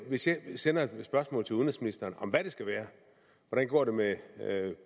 sende spørgsmål til udenrigsministeren om hvad det skal være hvordan går det med